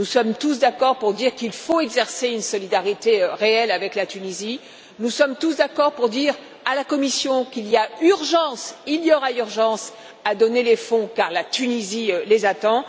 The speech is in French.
Nous sommes tous d'accord pour dire qu'il faut exercer une solidarité réelle avec la Tunisie, nous sommes tous d'accord pour dire à la Commission qu'il y a urgence, qu'il y aura urgence à donner les fonds, car la Tunisie les attend.